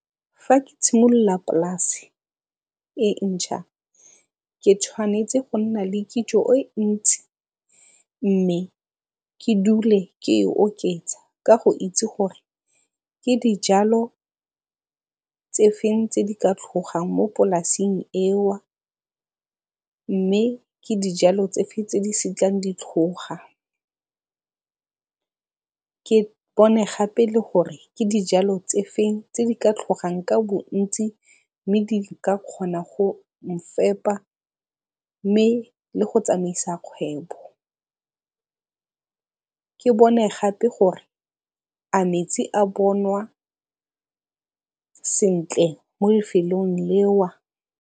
Fa ke tshimolola polasi e ntšha, ke tshwanetse go nna le kitso e ntsi mme ke dule ke e oketsa ka go itse gore ke dijalo tse feng tse di ka tlhogang mo polasing mme ke dijalo tse di feng tse di setlang di tlhoga. Ke bone gape le gore ke dijalo tse di feng tse di ka tlhogang ka bontsi mme di ka kgona go mfepa mme le go tsamaisa kgwebo. Ke bone gape gore a metsi a bonwa sentle mo lefelong .